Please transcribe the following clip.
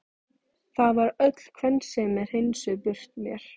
Það var öll kvensemi hreinsuð burt úr mér.